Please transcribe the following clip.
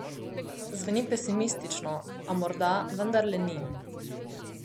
Zveni pesimistično, a morda vendarle ni.